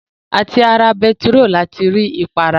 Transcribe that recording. À ti ara bentiróòlù ni a ti rí ìpara